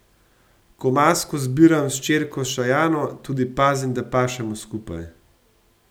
Ko masko zbiram s hčerko Šajano, tudi pazim, da pašemo skupaj.